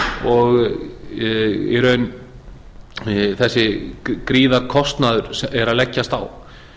og í raun þessi gríðarlegi kostnaður er að leggjast á